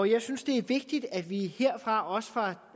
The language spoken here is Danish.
jeg synes det er vigtigt at vi herfra også